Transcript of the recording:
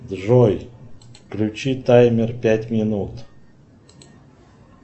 джой включи таймер пять минут